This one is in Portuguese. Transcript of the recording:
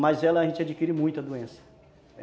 Mas ela a gente adquire muito doença.